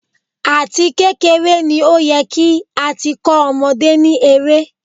Àti kékeré ni ó yẹ kí á ti kó ọmọdé ní eré.